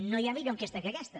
no hi ha millor enquesta que aquesta